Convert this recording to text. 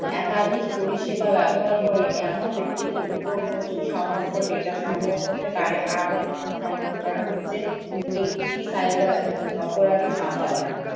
একাধিক পরিষেবা ব্যবহার করে এমন ব্যক্তিদের ওপর প্রচুর সম্ভাব্য data সংগ্রহ করতে পারে আরো তথ্য সংগ্রহ করা হচ্ছে একটি cyber অপরাধী সম্ভাবনা